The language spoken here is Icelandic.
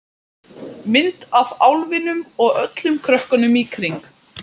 Mynd af álfinum og öllum krökkunum í kring.